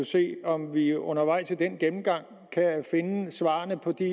se om vi undervejs i den gennemgang kan finde svarene på de